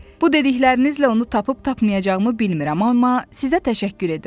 Bu dediklərinizlə onu tapıb-tapmayacağımı bilmirəm, amma sizə təşəkkür edirəm.